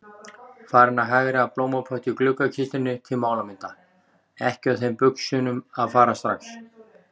Farin að hagræða blómapotti í gluggakistunni til málamynda, ekki á þeim buxunum að fara strax.